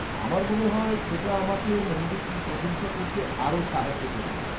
আমার মনে হয় সেটা আমাকে মন্দিরটির প্রশংসা করতে আরও সাহায্য করবে।